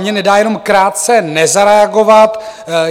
Mně nedá jenom krátce nezareagovat.